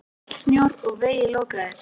Mikill snjór og vegir lokaðir.